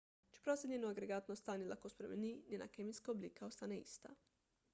čeprav se njeno agregatno stanje lahko spremeni njena kemijska oblika ostane ista